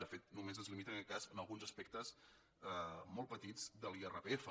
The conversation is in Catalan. de fet només es limita en aquest cas a alguns aspectes molt petits de l’irpf